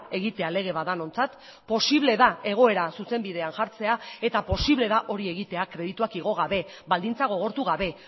egitea lege bat denontzat posible da egoera zuzenbidean jartzea eta posible da hori egitea kredituak igo gabe baldintza gogortu gabe